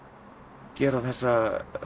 gera þessa